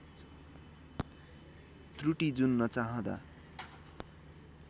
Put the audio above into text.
त्रुटी जुन नचाहँदा